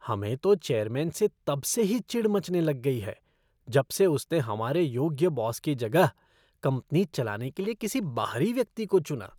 हमें तो चेयरमैन से तब से ही चिढ़ मचने लग गई है जब से उसने हमारे योग्य बॉस की जगह कंपनी चलाने के लिए किसी बाहरी व्यक्ति को चुना।